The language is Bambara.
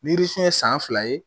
Ni yirifin ye san fila ye